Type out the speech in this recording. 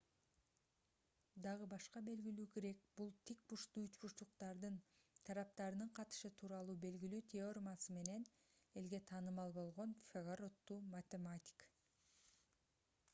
дагы башка белгилүү грек бул тик бурчтуу үч бурчтуктардын тараптарынын катышы тууралуу белгилүү теоремасы менен элге таанымал болгон пифагор аттуу математик